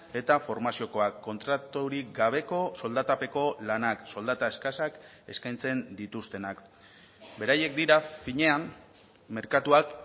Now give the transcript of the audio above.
eta formaziokoak kontraturik gabeko soldatapeko lanak soldata eskasak eskaintzen dituztenak beraiek dira finean merkatuak